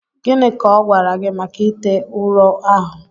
Gịnị ka ọ gwara gị maka ite ụrọ ahụ